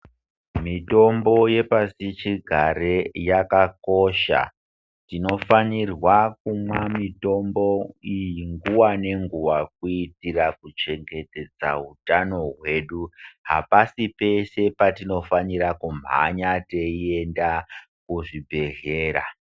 Mitombo yepashichigare yakakosha. Tinofanirwa kumwa mitombo iyi nguwa nenguwa kuitira kuchengetedza hutano hwedu. Hapasi peshe petinofanira kumhanya teiende kuzvibhedhlera.